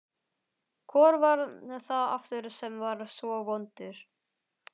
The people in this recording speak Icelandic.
Hvor var það aftur sem var svo vondur?